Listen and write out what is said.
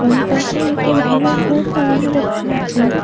এবং পাশে একটি ভরো ভোর্ড লাগানো দ্যাখতে পাচচি।